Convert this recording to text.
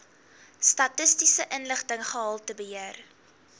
statistiese inligting gehaltebeheer